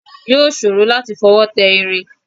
Yóò ṣòro láti fọwọ́ tẹ irin